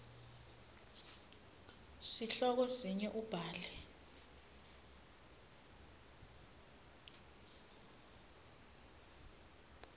sihloko sinye ubhale